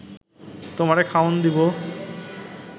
তোমারে খাওন দিব